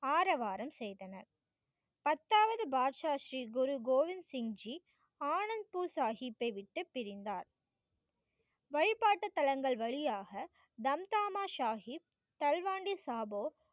ஆரவாரம் செய்தனர். பத்தாவது பாட்ஷா ஸ்ரீ குரு கோவிந்த சிங் ஜி ஆனந்த் பூர் சாகிப்பை விட்டு பிரிந்தார். வழிபாட்டுத் தளங்கள் வழியாக தம் தாமா சாகிப் தல்வாண்டி சாபோ